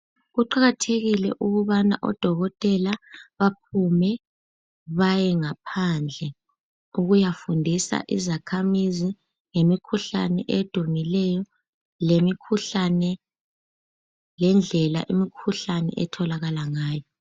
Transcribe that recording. Kuqakathekile ukubana odokotela baphume baye ngaphandle ukuyafundisa izakhamizi ngemikhuhlane edumileyo, lemikhuhlane, lendlela imikhuhlane etholakala ngayo.